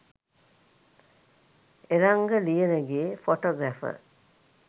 eranga liyanage photographer